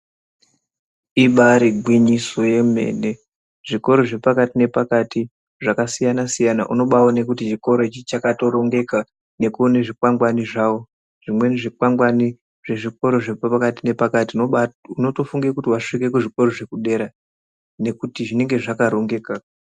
Ibari gwinyiso yemene zvikoro zvepakati nepakati zvakasiyana siyana unovawone kuti chikora ichi chakatorongeka nekuone zvikwangwani zvavo. Zvimweni zvikwangwani zvezvikora zviri pakati nepakati unotofunga kuti wasvika kuzvikora zvekudera nekuti zvinenge zvakarongeka.